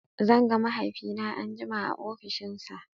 Zan ga mahaifina anjima a ofishinsa.